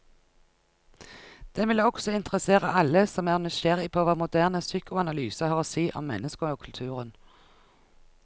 Den vil også interessere alle som er nysgjerrig på hva moderne psykoanalyse har å si om mennesket og kulturen.